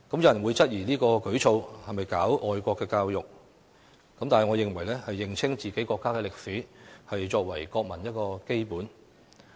有人會質疑這項舉措是否搞愛國教育，但我認為認清自己國家的歷史，是作為國民的基本義務。